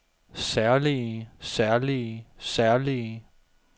særlige særlige særlige